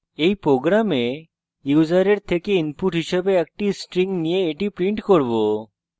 in program আমরা ইউসারের থেকে input হিসাবে একটি string নিয়ে এটি print করব